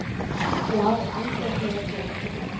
Já, andefni er til.